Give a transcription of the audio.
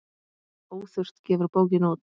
Óþurft gefur bókina út.